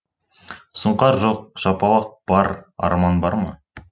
сұңқар жоқ жапалақ бар арман бар ма